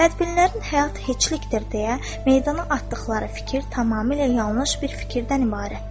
Bədbinlərin həyat heçlikdir deyə meydana atdıqları fikir tamamilə yanlış bir fikirdən ibarətdir.